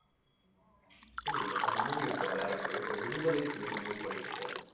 இல்ல இல்ல அந்த movie எடுத்த director உ இப்ப விடுதலைன்னு சொல்லி ஒரு movie பண்ணிட்டு இருக்காரு